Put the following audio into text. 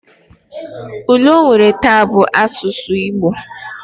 Ule onwere ta bu asusu Igbo